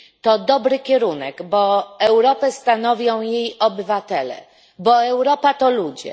To dobry kierunek, bo Europę stanowią jej obywatele, bo Europa to ludzie.